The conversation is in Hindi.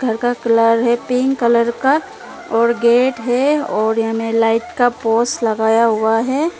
इनका कलर है पिंक कलर का और गेट हैं और एने लाइट का पोस लगाया हुआ है।